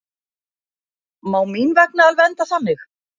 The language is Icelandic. Má mín vegna alveg enda þannig.